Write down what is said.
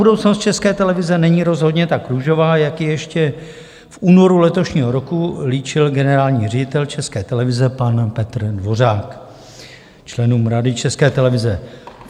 Budoucnost České televize není rozhodně tak růžová, jak ji ještě v únoru letošního roku líčil generální ředitel České televize pan Petr Dvořák členům Rady České televize.